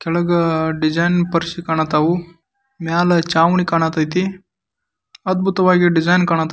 ಕೆಳಗಡೆ design purse ಕಾಣ್ತಾ ಇದೆ ಮೇಲೆ ಚಾವಾಣೆ ಕಾಣ್ತಾ ಇದೆ ಅದ್ಭುತವಾಗಿ ಡಿಸೈನ್ಕಾಣ್ತಾ ಕಾಣ್ತಾ --